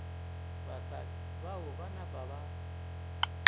basadi bao ba napa ba